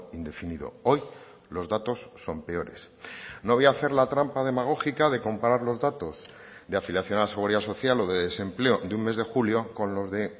indefinido hoy los datos son peores no voy a hacer la trampa demagógica de comparar los datos de afiliación a la seguridad social o de desempleo de un mes de julio con los de